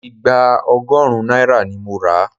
Ìgbá ọgọ́run náírà ni mo ra.